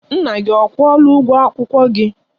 Nna gị ọ kwụọla ụgwọ akwụkwọ gị?